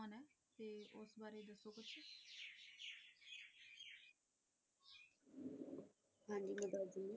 ਹਾਂਜੀ ਮੈਂ ਦੱਸਦੀ ਆ,